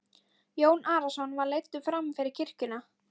Jón Arason var leiddur fram fyrir kirkjuna.